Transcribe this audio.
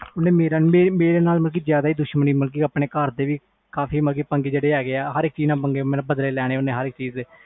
ਮੇਰੇ ਨਾਲ ਜਿਆਦਾ ਦੁਸਮਣੀ ਮਤਬਲ ਘਰ ਦੇ ਜਿਹੜੇ ਹੈ ਗਏ ਓਹਨਾ ਨਾਲ ਪੰਗੇ ਲੈਣੇ ਆ